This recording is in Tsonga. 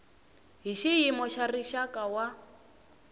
hi xiyimo xa rixaka wa